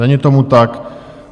Není tomu tak.